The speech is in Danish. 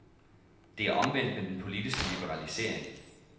Det er omvendt med den politiske liberalisering.